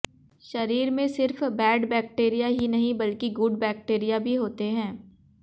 शरीर में सिर्फ बैड बैक्टीरिया ही नहीं बल्कि गुड बैक्टीरिया भी होते हैं